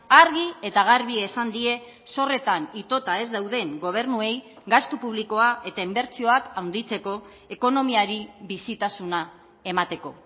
argi eta garbi esan die zorretan itota ez dauden gobernuei gastu publikoa eta inbertsioak handitzeko ekonomiari bizitasuna emateko